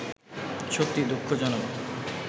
সত্যিই দুঃখজনক